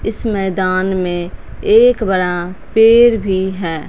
इस मैदान में एक बड़ा पेड़ भी है।